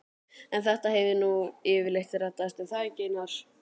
En þetta hefur nú yfirleitt reddast, er það ekki Einar?